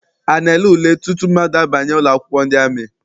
A na-ele ule tutu mmadụ abanye ụlọakwụkwọ ndị amị?